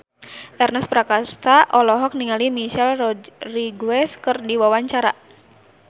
Ernest Prakasa olohok ningali Michelle Rodriguez keur diwawancara